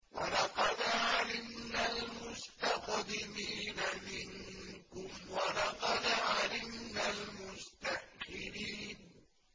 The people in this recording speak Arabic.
وَلَقَدْ عَلِمْنَا الْمُسْتَقْدِمِينَ مِنكُمْ وَلَقَدْ عَلِمْنَا الْمُسْتَأْخِرِينَ